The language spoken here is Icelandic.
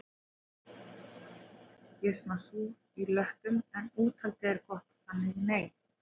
Ég er smá súr í löppum en úthaldið er gott þannig nei